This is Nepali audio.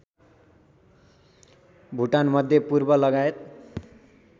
भुटान मध्यपूर्वलगायत